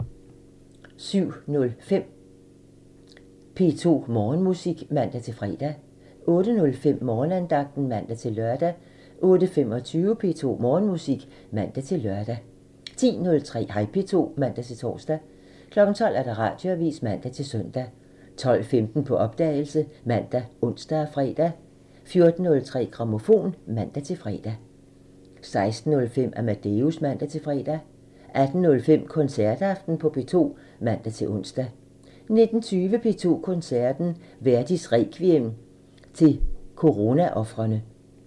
07:05: P2 Morgenmusik (man-fre) 08:05: Morgenandagten (man-lør) 08:25: P2 Morgenmusik (man-lør) 10:03: Hej P2 (man-tor) 12:00: Radioavisen (man-søn) 12:15: På opdagelse ( man, ons, fre) 14:03: Grammofon (man-fre) 16:05: Amadeus (man-fre) 18:05: Koncertaften på P2 (man-ons) 19:20: P2 Koncerten – Verdis Requiem til coronaofrene